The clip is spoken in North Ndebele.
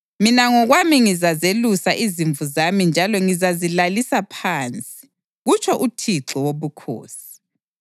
Mina ngokwami ngizazelusa izimvu zami njalo ngizazilalisa phansi, kutsho uThixo Wobukhosi.